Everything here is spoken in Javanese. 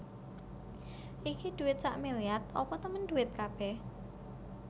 Iki dhuwit sakmiliar apa temen dhuwit kabeh